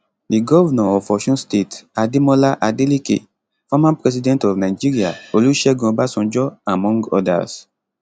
di govnor of osun state ademola adeleke former president of nigeria olusegun obasanjo among odas